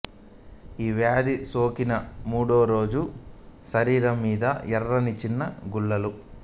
ఈ వ్యాధి సోకిన మూడోరోజు శరీరం మీద ఎర్రని చిన్న గుల్లలు